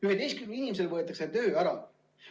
Üheteistkümnel inimesel võetakse töö ära.